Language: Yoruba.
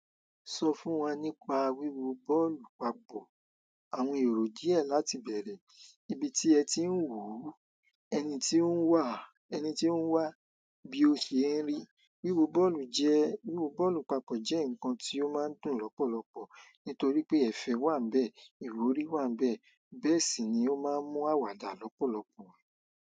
Sọ fún wa nípa wíwo bọ́ọ̀lù papọ̀. Àwọn èrò díẹ̀ láti bẹ̀rẹ̀, ibi tí ẹ ti ń wù ú, ẹni tí ó ń wà, ẹni tí ó ń wà bí o ṣe ń rí. Wíwo bọ́ọ̀lù jẹ́, wíwo bọ́ọ̀lù papọ̀ jẹ́ nǹkan tí ó máa ń dùn lọ́pọ̀lọpọ̀ nítorí pé ẹ̀fẹ̀ wà n bẹ́ẹ̀, ìwúrí wà n bẹ́ẹ̀, bẹ́ẹ̀ sì ni ó máa ń mú àwàdà lọ́pọ̀lọpọ̀.